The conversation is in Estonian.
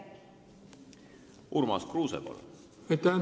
Urmas Kruuse, palun!